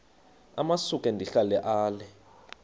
amasuka ndihlala ale